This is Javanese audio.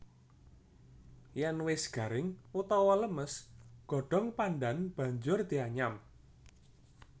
Yen wis garing utawa lemes godhong pandhan banjur dianyam